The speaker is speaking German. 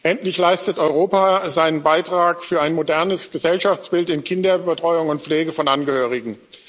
Endlich leistet Europa seinen Beitrag zu einem modernenb Gesellschaftsbild in Kinderbetreuung und Pflege von Angehörigen.